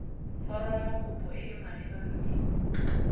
foromokopo e e maleba mme